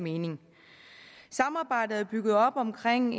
mening samarbejdet er bygget op omkring